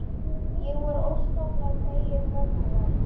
Ég var óskaplega fegin mömmu vegna.